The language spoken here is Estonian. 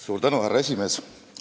Suur tänu, härra esimees!